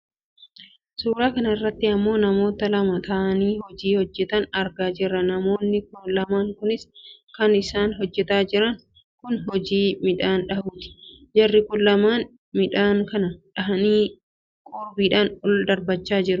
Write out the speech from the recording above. Suuraa kanarratti ammoo namoota lama ta'anii hojii hojjatan argaa jirra namoonni lamaan kunis kan isaan hojjataa jiran kun hojii midhaan dhahuuti. Jarri kun lamaan midhaan kana dhahanii qoorbiidhaan ol darbachaa jiru